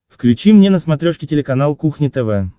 включи мне на смотрешке телеканал кухня тв